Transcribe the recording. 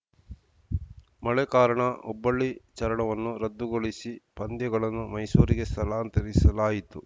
ಮಳೆ ಕಾರಣ ಹುಬ್ಬಳ್ಳಿ ಚರಣವನ್ನು ರದ್ದುಗೊಳಿಸಿ ಪಂದ್ಯಗಳನ್ನು ಮೈಸೂರಿಗೆ ಸ್ಥಳಾಂತರಿಸಲಾಯಿತು